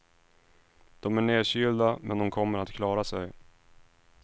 De är nedkylda, men de kommer att klara sig.